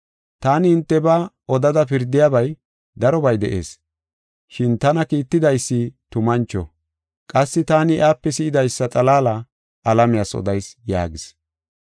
Taani hintebaa odada pirdiyabay darobay de7ees. Shin tana kiittidaysi tumancho; qassi taani iyape si7idaysa xalaala alamiyas odayis” yaagis.